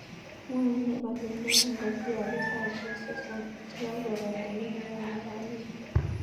Mwae ne baruet non kogiyoku saisiek sosom chegakopata negoyobu kamenyun